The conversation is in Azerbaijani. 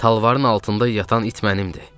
Talvarın altında yatan it mənimdir."